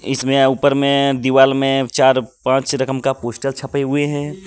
इसमें ऊपर में दीवाल में चार पांच रकम का पोस्टर छपे हुए हैं.